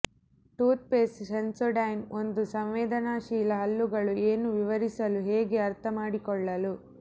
toothpaste Sensodyne ಒಂದು ಸಂವೇದನಾಶೀಲ ಹಲ್ಲುಗಳು ಏನು ವಿವರಿಸಲು ಹೇಗೆ ಅರ್ಥಮಾಡಿಕೊಳ್ಳಲು